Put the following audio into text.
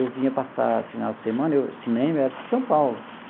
Eu vinha passar, final de semana, cinema era tudo em São Paulo.